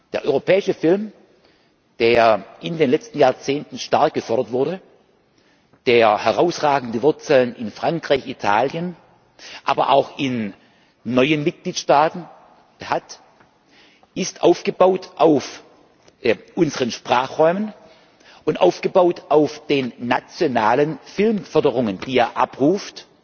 Der europäische Film, der in den letzten Jahrzehnten stark gefördert wurde, der herausragende Wurzeln in Frankreich, Italien, aber auch in neuen Mitgliedstaaten hat, ist aufgebaut auf unseren Sprachräumen, und aufgebaut auf den nationalen Filmförderungen, die er abruft.